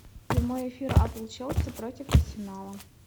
прямой эфир апл челси против арсенала